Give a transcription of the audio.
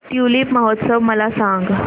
tulip महोत्सव मला सांग